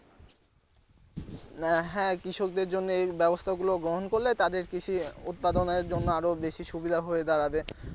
না হ্যাঁ কৃষকদের জন্য এই ব্যবস্থা গুলো বহন করলে তাদের কৃষি উৎপাদনের জন্য আরো বেশি সুবিধা হয়ে দাঁড়াবে।